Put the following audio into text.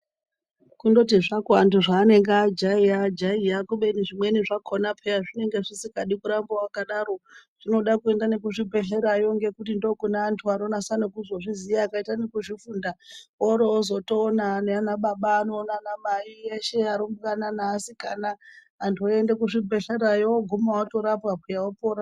Kundoti zvako antu zvaanenge ajaira ajaira kubeni zvimweni zvakona peya zvinenge zvisikadi kuramba wakadaro zvinode kuenda kuzvi bhedhlera yo ngekuti ndiko kune antu anonyasa kuzozviziya vakaita nekuzvi funda worootozoona naana baba ano naana mai eshe arumbwana neasikana antu oende kuzvivhedhlera yo oguma orapwa peya opora .